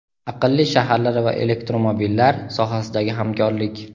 aqlli shaharlar va elektromobillar sohasidagi hamkorlik.